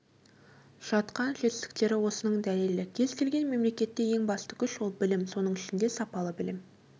жатқан жетістіктері осының дәлелі кез-келген мемлекетте ең басты күш ол білім соның ішінде сапалы білім